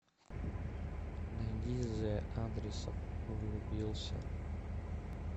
найди зэ адресов влюбился